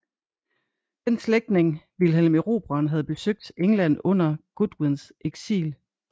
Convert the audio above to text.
Den slægtning Vilhelm Erobreren havde besøgt England under Godwins eksil